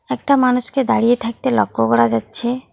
একটা মানুষকে দাঁড়িয়ে থাকতে লক্ষ্য করা যাচ্ছে।